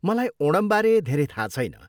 मलाई ओणमबारे धेरै थाहा छैन ।